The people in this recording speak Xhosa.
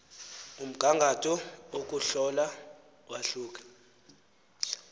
umgangatho wokuhlola wahluke